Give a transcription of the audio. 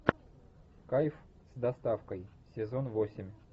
кайф с доставкой сезон восемь